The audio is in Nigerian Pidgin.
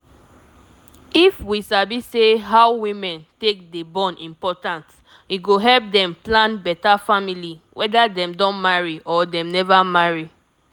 if we sabi say how women take dey born important e go help dem plan beta family weda dem don marry or dem neva marry